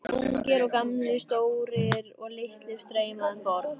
Ungir og gamlir, stórir og litlir streyma um borð.